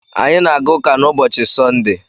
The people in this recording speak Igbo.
Anyị na-aga ụka na ubochi Sọnde